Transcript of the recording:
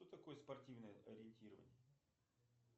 что такое спортивное ориентирование